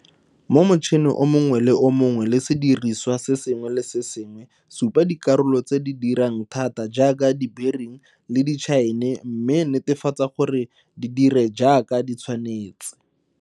Mo motšhene o mongwe le o mongwe le mo sediriswa se sengwe le se sengwe supa dikarolo tse di dirang thata jaaka dibering le ditšhaene mme netefatsa gore di dire jaaka di tshwanetse.